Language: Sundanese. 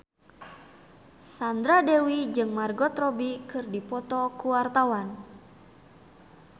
Sandra Dewi jeung Margot Robbie keur dipoto ku wartawan